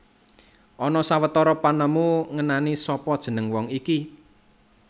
Ana sawetara panemu ngenani sapa jeneng wong iki